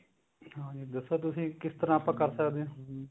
ਹਾਂਜੀ ਦੱਸੋ ਤੁਸੀਂ ਕਿਸ ਤਰ੍ਹਾਂ ਆਪਾ ਕਰ ਸਕਦੇ ਹਾਂ